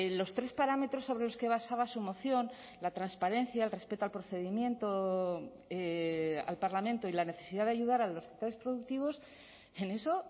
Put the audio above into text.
los tres parámetros sobre los que basaba su moción la transparencia el respeto al procedimiento al parlamento y la necesidad de ayudar a los sectores productivos en eso